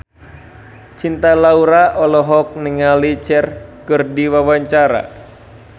Cinta Laura olohok ningali Cher keur diwawancara